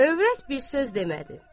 Övrət bir söz demədi.